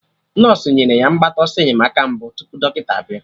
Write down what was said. Nọsụ nyere ya mgbata ọsọ enyemaka mbụ tupu dọkịta bịa